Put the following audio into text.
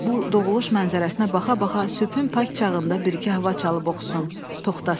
Bu doğuluş mənzərəsinə baxa-baxa sübhün pak çağında bir iki hava çalıb oxusun, toxtasın.